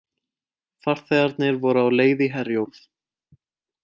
Farþegarnir voru á leið í Herjólf